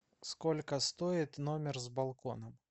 сколько стоит номер с балконом